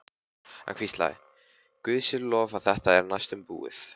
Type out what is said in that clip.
Hann hvíslaði: Guði sé lof að þetta er næstum búið.